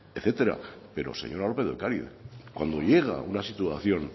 etcétera pero señora lópez de ocariz cuando llega una situación